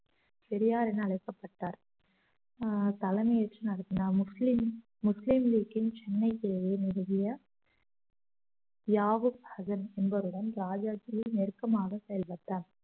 பெரியார் என அழைக்கப்பட்டார் அஹ் தலைமை ஏற்று நடத்தினார் முஸ்லிம் முஸ்லிம் லீக்கின் சென்னை பிரிவு நிறுவிய தியாகு ஹஜன் என்பவருடன் ராஜாஜி நெருக்கமாக செயல்பட்டார்